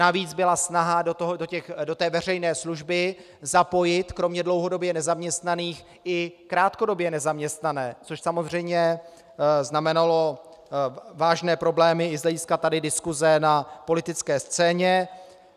Navíc byla snaha do té veřejné služby zapojit kromě dlouhodobě nezaměstnaných i krátkodobě nezaměstnané, což samozřejmě znamenalo vážné problémy i z hlediska tady diskuse na politické scéně.